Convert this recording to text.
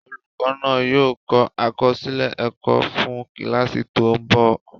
Olùkọ́ náà yóò kọ àkọsílẹ̀ ẹ̀kọ́ fún kíláàsì tó ń bọ̀